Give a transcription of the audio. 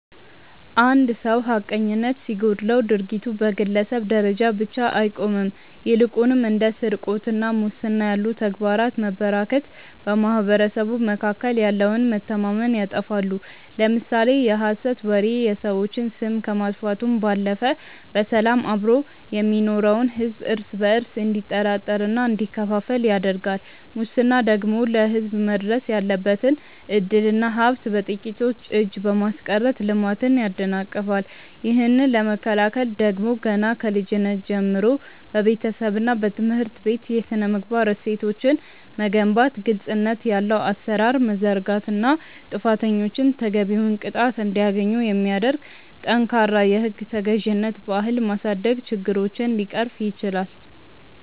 አንድ ሰው ሐቀኝነት ሲጎድለው ድርጊቱ በግለሰብ ደረጃ ብቻ አይቆምም ይልቁንም እንደ ስርቆትና ሙስና ያሉ ተግባራት መበራከት በማኅበረሰቡ መካከል ያለውን መተማመን ያጠፋሉ። ለምሳሌ የሐሰት ወሬ የሰዎችን ስም ከማጥፋቱም ባለፈ በሰላም አብሮ የሚኖረውን ሕዝብ እርስ በእርሱ እንዲጠራጠርና እንዲከፋፈል ያደርጋል ሙስና ደግሞ ለሕዝብ መድረስ ያለበትን ዕድልና ሀብት በጥቂቶች እጅ በማስቀረት ልማትን ያደናቅፋል። ይህንን ለመከላከል ደግሞ ገና ከልጅነት ጀምሮ በቤተሰብና በትምህርት ቤት የሥነ-ምግባር እሴቶችን መገንባት ግልጽነት ያለው አሠራር መዘርጋትና ጥፋተኞች ተገቢውን ቅጣት እንዲያገኙ የሚያደርግ ጠንካራ የሕግ ተገዥነት ባህል ማሳደግ ችግሮችን ሊቀርፍ ይችላል።